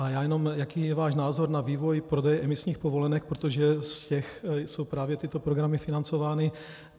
A já jenom, jaký je váš názor na vývoj prodeje emisních povolenek, protože z těch jsou právě tyto programy financovány.